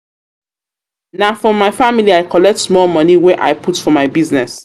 family I collect small moni wey I put for my business.